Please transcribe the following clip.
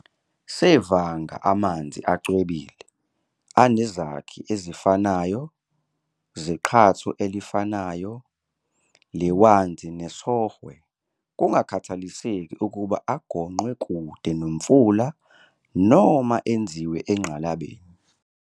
sevanga amanzi acwebile, anezakhi ezifanayo zeqhatho elifanayo lehwanzi nesOhwe kungakhathaliseki ukuba agonqwe kude nomfula noma enziwe engqalabeni "laboratory".